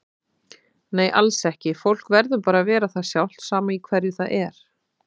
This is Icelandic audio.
Nei alls ekki, fólk verður bara að vera það sjálft sama í hverju það er.